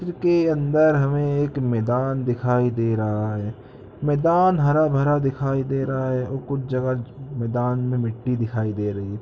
इसके अंदर हमे मैदान दिखाई दे रहा है मैदान हरा भरा दिखाई दे रहा है और कुछ जगह मैदान में मिटी दिखाई दे रही है।